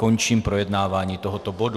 Končím projednávání tohoto bodu.